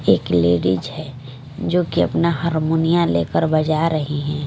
एक लेडीज है जो कि अपना हारमोनिया लेकर बजा रही हैं।